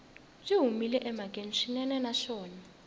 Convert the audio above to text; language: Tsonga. byi humile emhakeni swinene naswona